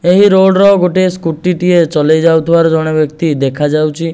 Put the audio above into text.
ଏହି ରୋଡ଼ର ଗୋଟେ ସ୍କୁଟି ଟିଏ ଚଲେଇ ଯାଉଥିବାର ଜଣେ ବ୍ୟକ୍ତି ଦେଖାଯାଉଛି।